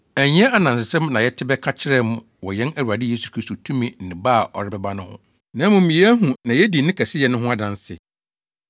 Ɛnyɛ anansesɛm na yɛte bɛka kyerɛɛ mo wɔ yɛn Awurade Yesu Kristo tumi ne ba a ɔrebɛba no ho, na mmom yɛahu na yedi ne kɛseyɛ no ho adanse.